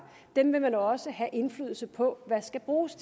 vil man også have indflydelse på hvad skal bruges